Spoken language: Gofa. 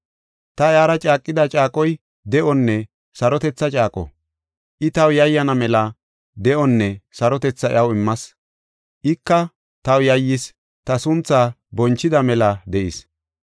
“Ta iyara caaqida caaqoy de7onne sarotetha caaqo; I taw yayyana mela de7onne sarotetha iyaw immas; ika taw yayyis, ta sunthaa bonchida mela de7is.